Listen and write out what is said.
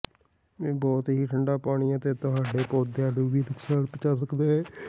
ਇਹ ਬਹੁਤ ਹੀ ਠੰਡਾ ਪਾਣੀ ਤੁਹਾਡੇ ਪੌਦਿਆਂ ਨੂੰ ਵੀ ਨੁਕਸਾਨ ਪਹੁੰਚਾ ਸਕਦਾ ਹੈ